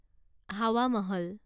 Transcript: Hawa Mahal